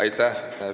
Aitäh!